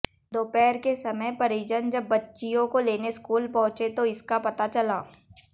दोपहर के समय परिजन जब बच्चियों को लेने स्कूल पहुंचे तो इसका पता चला